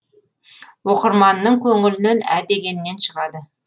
оқырманның көңілінен ә дегеннен шығады